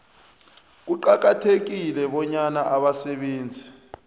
kuqakathekile bonyana abasebenzi